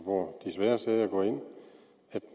hvor de svære sager går ind at